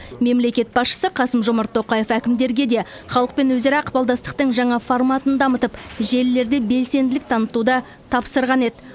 мемлекет басшысы қасым жомарт тоқаев әкімдерге де халықпен өзара ықпалдастықтың жаңа форматын дамытып желілерде белсенділік танытуды тапсырған еді